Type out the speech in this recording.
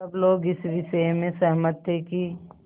सब लोग इस विषय में सहमत थे कि